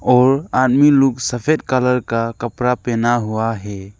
और आदमी लोग सफेद कलर का कपड़ा पहना हुआ है।